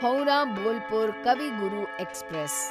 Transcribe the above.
Howrah Bolpur Kavi Guru express